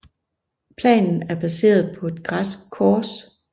Planen er baseret på et græsk kors